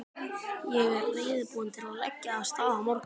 Ég er reiðubúinn til að leggja af stað á morgun.